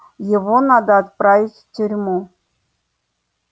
его надо отправить в тюрьму